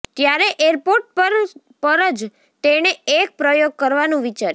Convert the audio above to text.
ત્યારે એરપોર્ટ પર જ તેણે એક પ્રયોગ કરવાનું વિચાર્યું